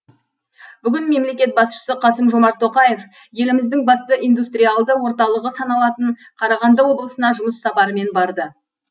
бүгін мемлекет басшысы қасым жомарт тоқаев еліміздің басты индустриалды орталығы саналатын қарағанды облысына жұмыс сапарымен барды